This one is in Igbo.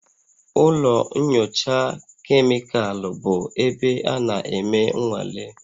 Ụlọ nyocha kemịkalụ bụ ebe a na-eme nnwale